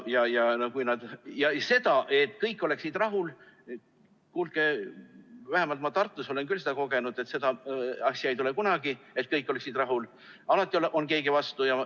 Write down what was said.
Sellist asja, et kõik oleksid rahul – kuulge, vähemalt ma Tartus olen küll seda kogenud –, ei tule kunagi, seda, et kõik oleksid rahul, alati on keegi vastu.